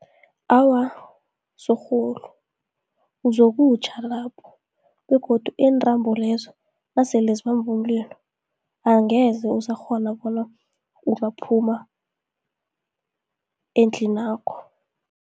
Awa, sorhulu uzokutjha lapho, begodu intrambo lezo nasele zibambu umlilo, angeze usakghona bona ungaphuma endlinakho.